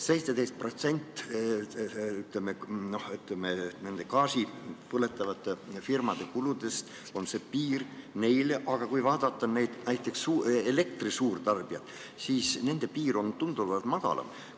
17% on see gaasi põletavate firmade kulupiir, aga kui vaadata näiteks elektri suurtarbijaid, siis nende piir on tunduvalt madalam.